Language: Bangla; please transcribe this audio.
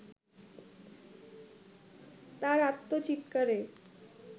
তার আর্তচিৎকারে